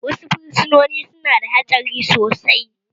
Wasu fursunoni su na da hatsari sosai